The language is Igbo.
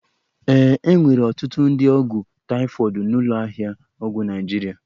E nwere ọtụtụ ụdị ọgwụ taịfọdụ n'ụlọ ahịa ọgwụ Naịjirịa